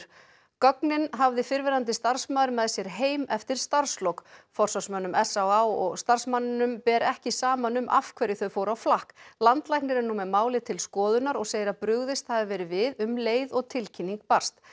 gögnin hafði fyrrverandi starfsmaður með sér heim eftir starfslok forsvarsmönnum s á á og starfsmanninum ber ekki saman um af hverju þau fóru á flakk landlæknir er nú með málið til skoðunar og segir að brugðist hafi verið við um leið og tilkynning barst